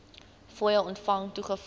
fooie ontvang toegeval